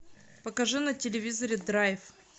покажи на телевизоре драйв